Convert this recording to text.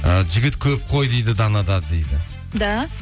і жігіт көп қой дейді данада дейді да